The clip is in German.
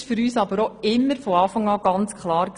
Das war für uns aber von Anfang an klar.